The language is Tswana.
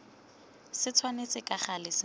se tshwanetse ka gale se